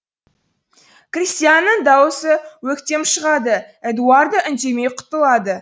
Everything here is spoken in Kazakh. кристианның даусы өктем шығады эдуардо үндемей құтылады